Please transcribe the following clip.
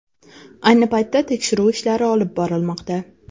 Ayni paytda tekshiruv ishlari olib borilmoqda.